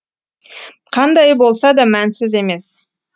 қандайы болса да мәнсіз емес